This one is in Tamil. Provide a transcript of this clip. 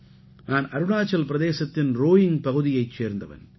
நான் அருணாச்சல் பிரதேசத்தின் ரோயிங்க் பகுதியைச் சேர்ந்தவன்